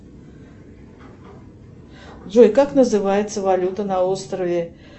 джой как называется валюта на острове